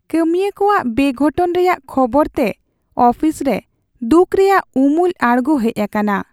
ᱠᱟᱹᱢᱤᱭᱟᱹ ᱠᱚᱣᱟᱜ ᱵᱮᱜᱷᱚᱴᱚᱱ ᱨᱮᱭᱟᱜ ᱠᱷᱚᱵᱚᱨᱛᱮ ᱟᱯᱷᱤᱥ ᱨᱮ ᱫᱩᱠᱷ ᱨᱮᱭᱟᱜ ᱩᱢᱩᱞ ᱟᱲᱜᱳ ᱦᱮᱡ ᱟᱠᱟᱱᱟ ᱾